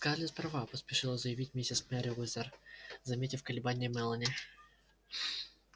скарлетт права поспешила заявить миссис мерриуэзер заметив колебания мелани